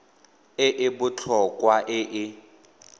e e botlhokwa e e